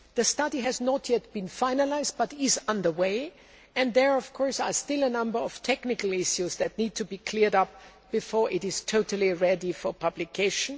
The study has not yet been finalised, but is under way, and there are still a number of technical issues to be cleared up before it is totally ready for publication.